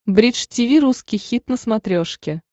бридж тиви русский хит на смотрешке